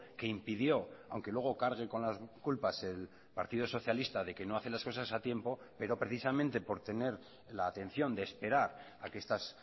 que impidió aunque luego cargue con las culpas el partido socialista de que no hace las cosas a tiempo pero precisamente por tener la atención de esperar a que estas